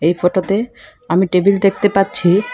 এই ফটোতে আমি টেবিল দেখতে পাচ্ছি।